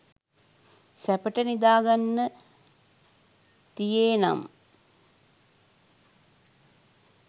සැපට නිදාගන්න තියේ නම්